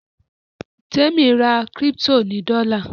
Temi rà crypto ní dola.